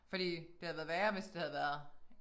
Fordi det havde været værre hvis havde været